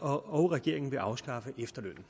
og regeringen vil afskaffe efterlønnen